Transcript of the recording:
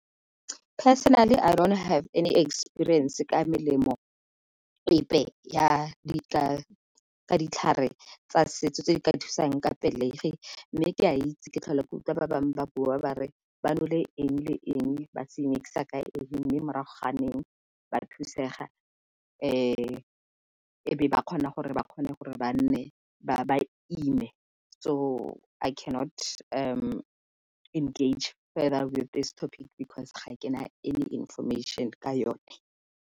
Personally I don't have any experience ka melemo epe ya ditlhare tsa setso tse di ka thusang ka pelegi mme ke a itse ke tlhola ke utlwa ba bangwe ba bua ba re ba nole eng le eng ba se mix-a ka eng mme morago neng ba thusega. E be ba kgona gore ba kgone gore ba ime, So I cannot engage further with this topic because ga kena any information ka yone.